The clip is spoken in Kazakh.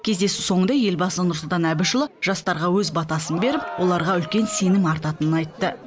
кездесу соңында елбасы нұрсұлтан әбішұлы жастарға өз батасын беріп оларға үлкен сенім артатынын айтты